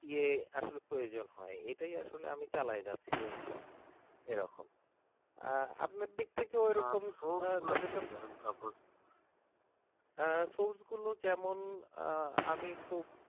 আসলে প্রয়োজন হয় এটেই আমি চালায় যাচ্ছি আর কি এরকম আপনার দিক থেকেও এরকম source গুলো যেমন আমি খুব